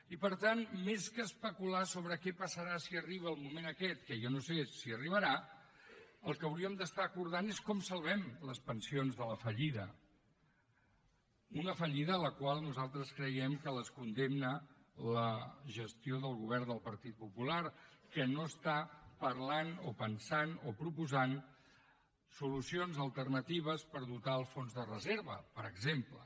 i per tant més que especular sobre què passarà si arriba el moment aquest que jo no sé si arribarà el que hauríem d’acordar és com salvem les pensions de la fallida una fallida a la qual nosaltres creiem que les condemna la gestió del govern del partit popular que no parla o pensa o proposa solucions alternatives per dotar el fons de reserva per exemple